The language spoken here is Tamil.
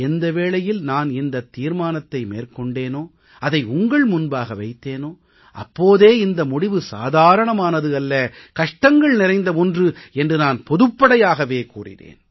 எந்த வேளையில் நான் இந்த தீர்மானத்தை மேற்கொண்டேனோ அதை உங்கள் முன்பாக வைத்தேனோ அப்போதே இந்த முடிவு சாதாரணமானது அல்ல கஷ்டங்கள் நிறைந்த ஒன்று என்று நான் பொதுப்படையாகவே கூறினேன்